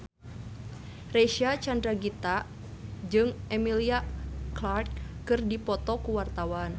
Reysa Chandragitta jeung Emilia Clarke keur dipoto ku wartawan